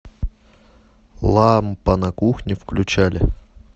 лампа на кухне включали